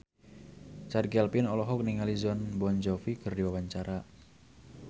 Chand Kelvin olohok ningali Jon Bon Jovi keur diwawancara